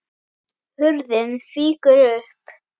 Hurðin fýkur upp.